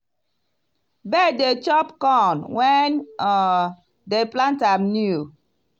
bird dey chop corn when um dem plant am new.